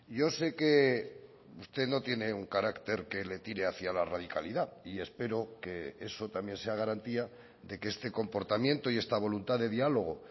yo sé que usted no tiene un carácter que le tire hacia la radicalidad y espero que eso también sea garantía de que este comportamiento y esta voluntad de diálogo